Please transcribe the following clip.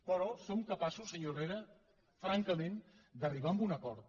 però som capaços senyor herrera francament d’arribar a un acord